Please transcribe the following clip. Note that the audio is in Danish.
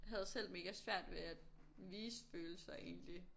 Havde selv mega svært ved at vise følelser egentlig